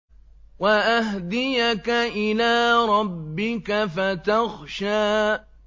وَأَهْدِيَكَ إِلَىٰ رَبِّكَ فَتَخْشَىٰ